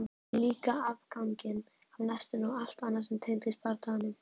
Líka afganginn af nestinu og allt annað sem tengdist bardaganum.